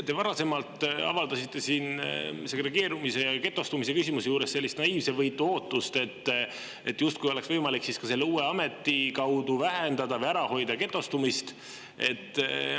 Te varasemalt avaldasite siin segregeerumise ja getostumise küsimuse juures sellist naiivsevõitu ootust, justkui oleks võimalik ka selle uue ameti abil vähendada või ära hoida getostumist.